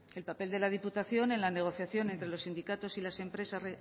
el papel de la diputación en la negociación entre los sindicatos